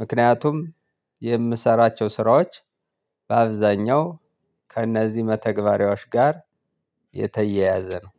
ምክንያቱም የምሰራቸው ስራዎች በአብዛኛው ከእነዚህ መተግበሪያዎች ጋር የተያያዘ ነው።